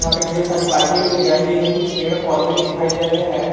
पे ढेर सारी बाइके भी लगाई गई है कुछ पेड़ पौधे भी दिखाई दे रहे हैं।